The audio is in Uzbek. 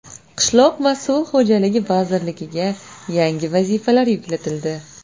Qishloq va suv xo‘jaligi vazirligiga yangi vazifalar yuklatildi.